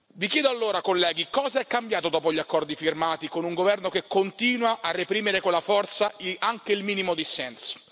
Vi chiedo, allora, colleghi, cosa è cambiato dopo gli accordi firmati con un governo che continua a reprimere con la forza anche il minimo dissenso.